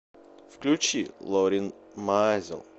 включи лорин маазел